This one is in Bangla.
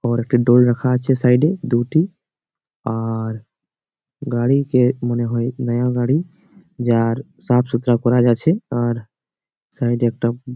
ওর একটা ডোর রাখা আছে সাইড -এ দুটি। আর গাড়িকে মনে হয় নয়া গাড়ি। যার সাফ সুতরা করা আছে। আর সাইডে একটা উমঃ--